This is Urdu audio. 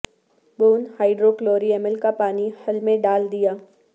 بون ہائڈروکلوری امل کا پانی حل میں ڈال دیا